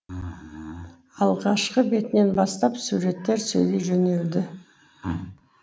алғашқы бетінен бастап суреттер сөйлей жөнелді